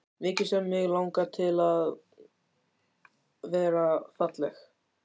Mikið sem mig langaði til að vera falleg.